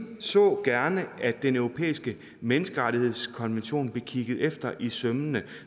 så gerne at den europæiske menneskerettighedskonvention blev kigget efter i sømmene